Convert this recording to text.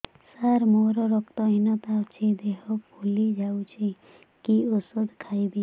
ସାର ମୋର ରକ୍ତ ହିନତା ଅଛି ଦେହ ଫୁଲି ଯାଉଛି କି ଓଷଦ ଖାଇବି